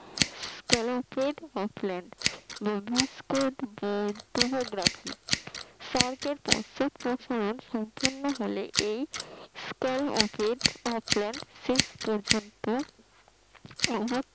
clue plate বা প্ল্যান সরেটের পশ্চাৎ প্রসরণ সম্পূর্ণ হলে এই পর্যন্ত